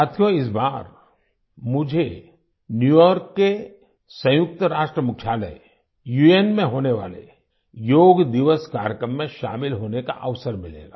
साथियो इस बार मुझे न्यू यॉर्क के संयुक्त राष्ट्र मुख्यालय उन में होने वाले योग दिवस कार्यक्रम में शामिल होने का अवसर मिलेगा